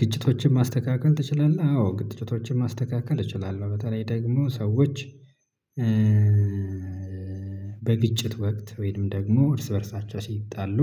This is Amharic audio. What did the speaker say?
ግጭቶችን ማስተካከል ትችላለህ? አዎ ግጭቶችን ማስተካከል እችላለሁ። በተለይ ደግሞ ሰዎች። በግጭት ወቅት ወይም ደግሞ እርስ በእርሳቸው ሲጣሉ።